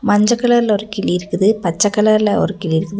மஞ்ச கலர்ல ஒரு கிளி இருக்குது பச்சை கலர்ல ஒரு கிளி இருக்குது.